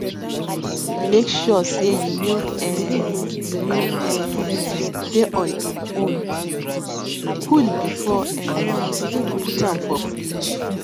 make sure sey you milk um you milk um dey on em own cool before um you put am for fridge